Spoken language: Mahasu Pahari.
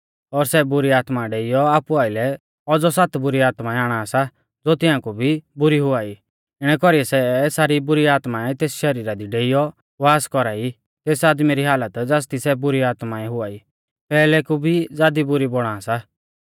और सै बुरी आत्मा डेइयौ आपु आइलै औज़ौ सात बुरी आत्माऐं आणा सा ज़ो तियांकु भी बुरी हुआई इणै कौरीऐ सै सारी बुरी आत्माऐं तेस शरीरा दी डेइयौ वास कौरा ई तेस आदमी री हालत ज़ासदी सै बुरी आत्माऐं हुआई पैहलै कु भी ज़ादी बुरी बौणा सा